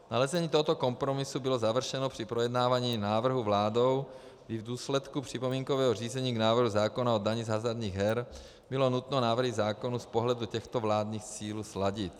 Nalezení tohoto kompromisu bylo završeno při projednávání návrhu vládou, kdy v důsledku připomínkového řízení k návrhu zákona o dani z hazardních her bylo nutno návrhy zákonů z pohledu těchto vládních cílů sladit.